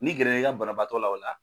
N'i gɛrɛ la i ka banabaatɔ la o la